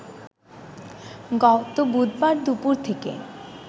গত বুধবার দুপুর থেকে